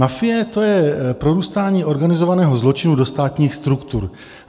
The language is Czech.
Mafie, to je prorůstání organizovaného zločinu do státních struktur.